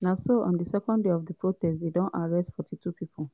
na so on di second day of di protest dey don arrest 42 pipo.